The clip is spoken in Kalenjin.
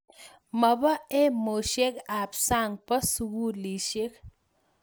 ma boo emosiek ab sang boo sukulishek